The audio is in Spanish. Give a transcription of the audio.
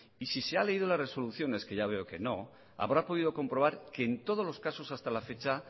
y si se ha leído las resoluciones que ya veo que no habrá podido comprobar que en todos los casos hasta la fecha